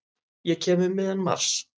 Ég kem um miðjan mars.